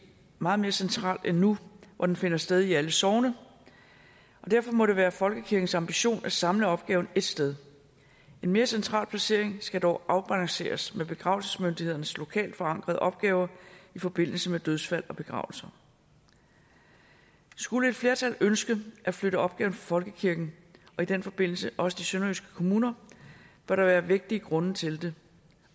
meget mere centralt end nu hvor den finder sted i alle sogne og derfor må det være folkekirkens ambition at samle opgaven ét sted en mere central placering skal dog afbalanceres med begravelsesmyndighedernes lokalt forankrede opgaver i forbindelse med dødsfald og begravelser skulle et flertal ønsker at flytte opgaven fra folkekirken og i den forbindelse også de sønderjyske kommuner bør der være vægtige grunde til det